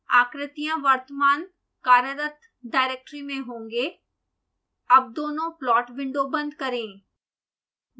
आकृतियां वर्तमान कार्यरत डाइरेक्टरी में होंगे अब दोनों प्लॉट विंडो बंद करें